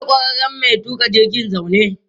Akwai ƙwararren mai tuƙa jirgin zaune.